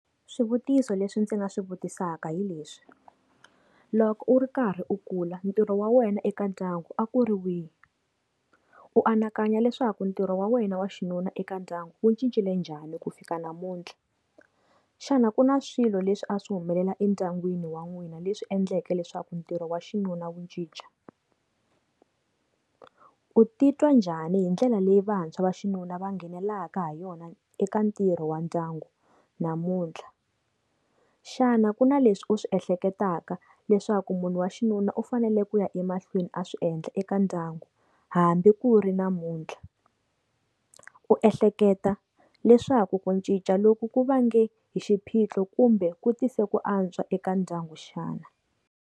Swivutiso leswi ndzi nga swi vutisaka hileswi, loko u ri karhi u kula ntirho wa wena eka ndyangu a ku ri wihi, u anakanya leswaku ntirho wa wena wa xinuna eka ndyangu wu cincile njhani ku fika namuntlha, xana ku na swilo leswi a swi humelela endyangwini wa n'wina leswi endlaka leswaku ntirho wa nwina wa xinuna wu ncinca, u titwa njhani hi ndlela leyi vantshwa va xinuna va nghenelelaka ha yona eka ntirho wa ndyangu namuntlha. Xana ku na leswi u swi ehleketaka leswaku munhu wa xinuna u fanele ku ya emahlweni a swi endla eka ndyangu hambi ku ri namuntlha, u ehleketa leswaku ku ncinca loko ku va nge hi xiphiqo kumbe ku tisa ku antswa eka ndyangu xana.